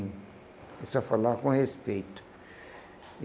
Ele só falava com respeito.